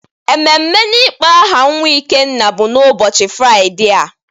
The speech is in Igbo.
Ememe n'ịkpọ aha nwa Ikenna bụ ụbọchị Fraịde a.